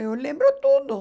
Eu lembro tudo.